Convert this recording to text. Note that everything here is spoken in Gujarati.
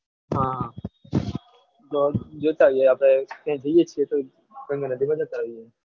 હા તો જોતા જઈએ આપડે ત્યાં જઈએ છીએ ત